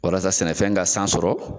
Walasa sɛnɛfɛn ka san sɔrɔ